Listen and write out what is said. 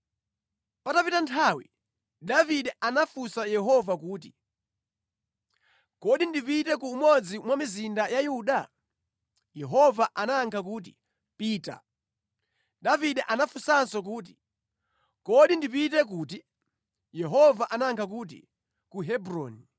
Patapita nthawi, Davide anafunsa Yehova kuti, “Kodi ndipite ku umodzi mwa mizinda ya Yuda?” Yehova anayankha kuti, “Pita.” Davide anafunsanso kuti, “Kodi ndipite kuti?” Yehova anayankha kuti, “Ku Hebroni.”